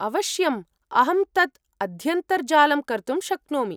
अवश्यम्, अहं तत् अध्यन्तर्जालं कर्तुं शक्नोमि।